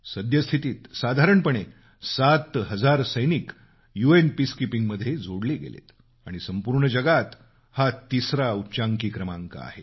सद्यस्थितीत साधारणपणे सात हजार सैनिक यू एन पीसकीपिंग मध्ये जोडले गेलेत आणि संपूर्ण जगात हा तिसरा उच्चांकी क्रमांक आहे